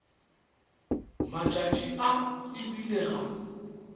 matšatši a e bile ga